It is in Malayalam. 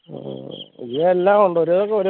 ഹും ഇതിൽ എല്ലാം ഉണ്ട് ഒരു വിധം